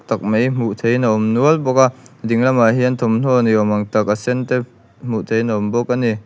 tak mai hmuh theihin a awm nual bawk a ding lamah hian thawmhnaw ni awm ang tak a sen te hmuh theihin a awm bawk a ni.